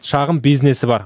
шағын бизнесі бар